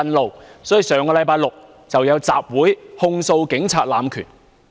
故此，他們於上星期舉行集會，控訴警察濫權。